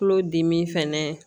Tulodimi fɛnɛ